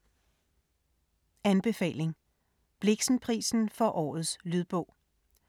Anbefaling: Blixenprisen for Årets lydbog